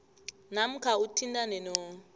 namkha uthintane no